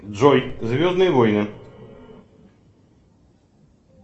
джой звездные войны